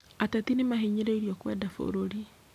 Ateti nĩmahinyĩrĩirio kwenda bũrũri